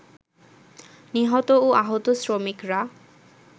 নিহত ও আহত শ্রমিকরা